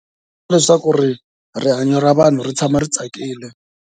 Leswaku rihanyo ra vanhu ri tshama ri tsakile.